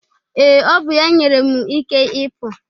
Ee, ọ bụ ya nyere m ike ịpụ.